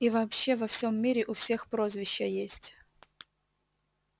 и вообще во всем мире у всех прозвища есть